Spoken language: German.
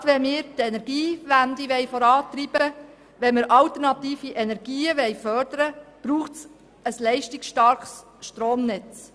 Gerade wenn wir die Energiewende vorantreiben und alternative Energien fördern wollen, braucht es ein leistungsstarkes Stromnetz.